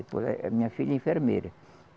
Depois eh a minha filha é enfermeira.